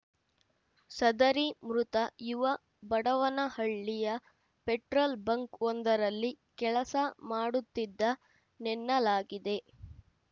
ಸದರಿ ಮೃತ ಯುವ ಬಡವನಹಳ್ಳಿಯ ಪೆಟ್ರೋಲ್ ಬಂಕ್‌ವೊಂದರಲ್ಲಿ ಕೆಲಸ ಮಾಡುತ್ತಿದ್ದನೆನ್ನಲಾಗಿದೆ